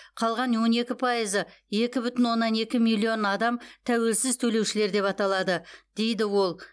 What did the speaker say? қалған он екі пайызы екі бүтін оннан екі миллион адам тәуелсіз төлеушілер деп аталады дейді ол